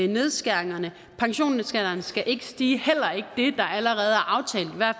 nedskæringerne pensionsalderen skal ikke stige heller ikke det der allerede